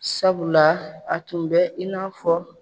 Sabula a tun bɛ i n'a fɔ